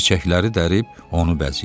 Çiçəkləri dərib onu bəzəyirdi.